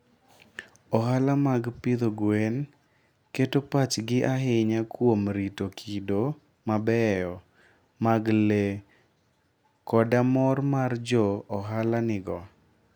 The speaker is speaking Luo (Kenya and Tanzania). Ohala mag pidho gwen keto pachgi ahinya kuom rito kido mabeyo mag le koda mor ma jo ohala nigo.